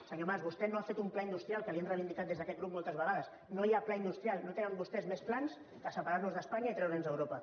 senyor mas vostè no ha fet un pla industrial que li ho hem reivindicat des d’aquest grup moltes vegades no hi ha pla industrial no tenen vostès més plans que separar nos d’espanya i treure’ns d’europa